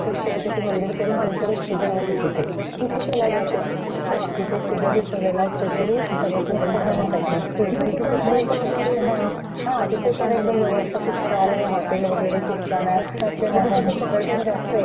हा तिथे पण एकदम व्यवस्था खूप छान आहे हॉटेल वगैरे खूप छान आहे . म्हणजे तिथे पर्यटन खूप येतात ते बघण्यासाठी दृश्य वेगळंच आहे ते एक तर टेकडी वरदृश्य वेगळंच आहे ते एक तर टेकडी वर पणआहे ते .आणि प्लेस म्हणजे कस थोडं जंगल सफारी टाइप थोडं टेकडी वर पण आहे ते त्यामुले लोक दुरुन येतात बघण्यासाठी तिथे